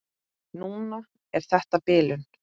Núna er þetta bilun.